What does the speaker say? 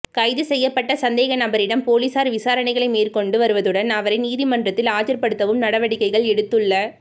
கைது செய்யப்பட்ட சந்தேகநபரிடம் பொலிஸார் விசாரணைகளை மேற்கொண்டு வருவதுடன் அவரை நீதிமன்றத்தில் ஆஜர்ப்படுத்தவும் நடவடிக்கை எடுத்துள